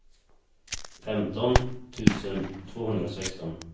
femton tusen tvåhundrasexton